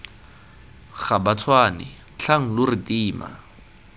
gabatshwane tlhang lo re tima